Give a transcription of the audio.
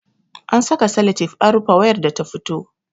An saka salatif an rufe wayar da ta fito